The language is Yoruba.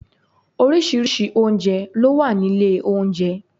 Orísìírísìí oúnjẹ ló wá nílé oúnjẹ